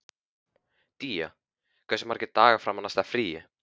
Día, hversu margir dagar fram að næsta fríi?